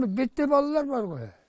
биттей балалар бар ғой